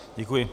Děkuji.